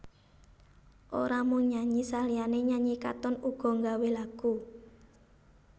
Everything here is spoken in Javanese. Ora mung nyanyi saliyané nyanyi Katon uga nggawé lagu